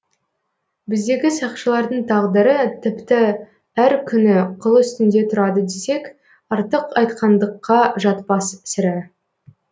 біздегі сақшылардың тағдыры тіпті әр күні қыл үстінде тұрады десек артық айтқандыққа жатпас сірә